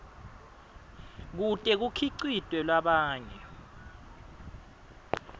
kute kukhicitwe labanye